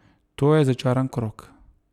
To je začaran krog.